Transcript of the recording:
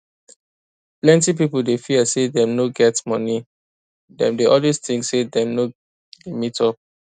plenty pipo dey fear say dem no go get money dem dey always think say dem no dey meet up